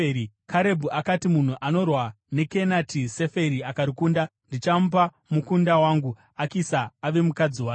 Karebhu akati, “Munhu anorwa neKenati Seferi akarikunda ndichamupa mukunda wangu, Akisa ave mukadzi wake.”